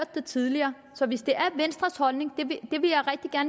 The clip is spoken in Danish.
det tidligere så hvis det er venstres holdning